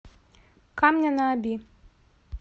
камня на оби